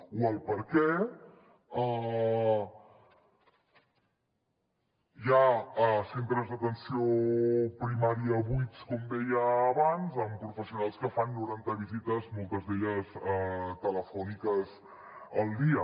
o per què hi ha centres d’atenció primària buits com deia abans amb professionals que fan noranta visites moltes d’elles telefòniques al dia